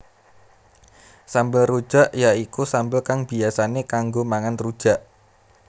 Sambel rujak ya iku sambel kang biyasané kanggo mangan rujak